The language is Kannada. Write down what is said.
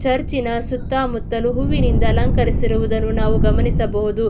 ಚರ್ಚಿನ ಸುತ್ತ ಮುತ್ತಲು ಹೂವಿನಿಂದ ಅಲಂಕರಿಸಿರುವುದನ್ನು ನಾವು ಗಮನಿಸಬಹುದು.